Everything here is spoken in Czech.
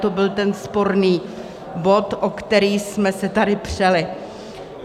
To byl ten sporný bod, o který jsme se tady přeli.